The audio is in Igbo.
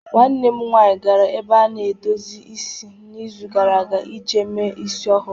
Nwanne m nwanyị gara n'ebe a na-edozi isi n'izu gara aga iji mee isi ọhụrụ.